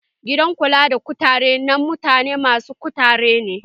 Gidan kula da kutare na mutane masy kuturta ne